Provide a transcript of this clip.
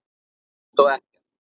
Allt og ekkert